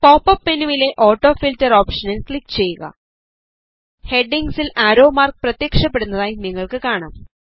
pop up മെനുവിലെ auto filter ഓപ്ഷനിൽ click ചെയ്യുക ഹെഡിംഗ്സിൽ ആരോ മാർക്ക് പ്രത്യക്ഷപ്പെടുന്നതായി നിങ്ങൾക്ക് കാണാം